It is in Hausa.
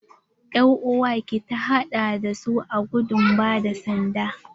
Er'uwar ki ta haɗa da su a gudun ba da sanda?